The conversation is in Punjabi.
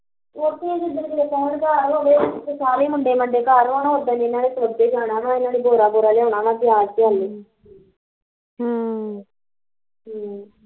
ਓਥੇ ਜਦੋਂ ਹੁਣ ਕਦੇ ਘਰ ਹੋਵੇ ਮੁੰਡੇ ਮਡੇ ਘਰ ਹੋਣ ਓਦਣ ਇਹਨਾਂ ਨੇ ਸੋਂਦੇ ਜਾਣਾ ਵਾ ਤੇ ਏਹਨਾ ਨੇ ਗੋਰਾ ਗੋਰਾ ਲਿਆਉਣਾ ਵਾ ਪਿਆਜ਼ ਹਮ ਹਮ